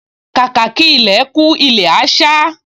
Kàkà kí ilẹ̀ kú, ilẹ̀ á sá